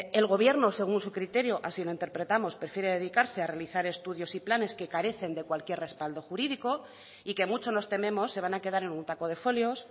el gobierno según su criterio así lo interpretamos prefiere dedicarse a realizar estudios y planes que carecen de cualquier respaldo jurídico y que mucho nos tememos se van a quedar en un taco de folios